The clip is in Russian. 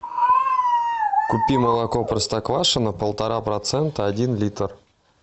купи молоко простоквашино полтора процента один литр